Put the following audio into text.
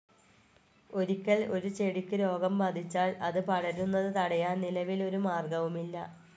ഒരിക്കൽ ഒരു ചെടിക്ക് രോഗം ബാധിച്ചാൽ അത് പടരുന്നത് തടയാൻ നിലവിൽ ഒരു മാർഗ്ഗവുമില്ല.